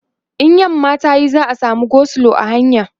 in yamma tayi za'a samu go slow a hanya